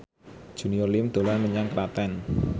Junior Liem dolan menyang Klaten